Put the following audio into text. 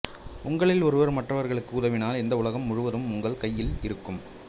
உங்களில் ஒருவர் மற்றவருக்கு உதவினால் இந்த உலகம் முழுவதும் உங்கள் கையில் இருக்கும்